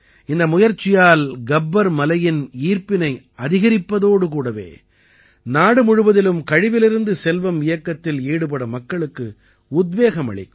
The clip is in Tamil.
இந்த முயற்சியால் கப்பர் மலையின் ஈர்ப்பினை அதிகரிப்பதோடு கூடவே நாடு முழுவதிலும் கழிவிலிருந்து செல்வம் இயக்கத்தில் ஈடுபட மக்களுக்கு உத்வேகம் அளிக்கும்